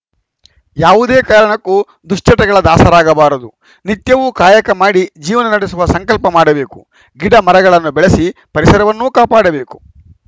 ಯಾವುದೇ ಕಾರಣಕ್ಕೂ ದುಶ್ಚಟಗಳ ದಾಸರಾಗಬಾರದು ನಿತ್ಯವೂ ಕಾಯಕ ಮಾಡಿ ಜೀವನ ನಡೆಸುವ ಸಂಕಲ್ಪ ಮಾಡಬೇಕು ಗಿಡ ಮರಗಳನ್ನು ಬೆಳಸಿ ಪರಿಸರವನ್ನೂ ಕಾಪಾಡಬೇಕು